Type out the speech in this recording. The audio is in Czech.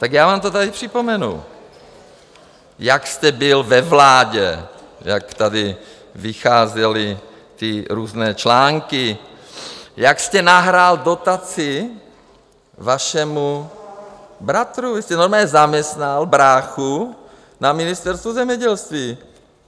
Tak já vám to tady připomenu, jak jste byl ve vládě, jak tady vycházely ty různé články, jak jste nahrál dotaci vašemu bratrovi, vy jste normálně zaměstnal bráchu na Ministerstvu zemědělství.